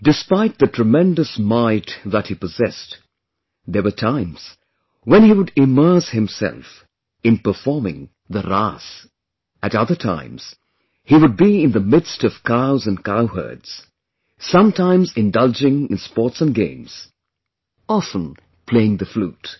Despite the tremendous might that he possessed, there were times when he would immerse himself in performing the RAAS; at other times he would be in the midst of cows and cowherds; sometimes indulging in sports & games; often playing the flute